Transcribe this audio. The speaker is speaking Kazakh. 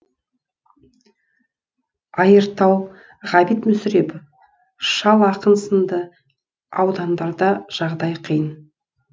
айыртау ғабит мүсірепов шал ақын сынды аудандарда жағдай қиын